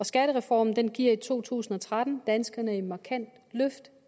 skattereformen giver i to tusind og tretten danskerne et markant løft